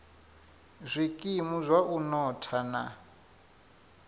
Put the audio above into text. zwikimu zwa u notha na